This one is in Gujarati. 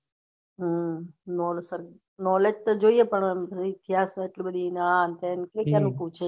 હા knowledge તો જોઈએ પણ અમ ત્યાં છે આટલી બધી આમ તેમ કરી ને પૂછે